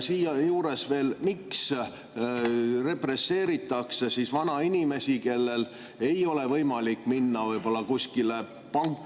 Siia juurde veel: miks represseeritakse vanainimesi, kellel ei ole võimalik minna kuskile panka …